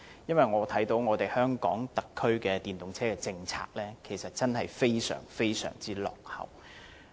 因為香港特區政府的電動車政策真的非常落後。